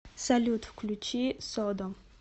салют включи содом